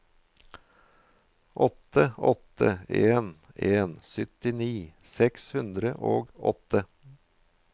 åtte åtte en en syttini seks hundre og åtte